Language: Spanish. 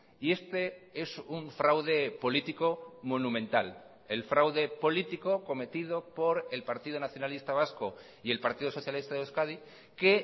y este es un fraude político monumental el fraude político cometido por el partido nacionalista vasco y el partido socialista de euskadi que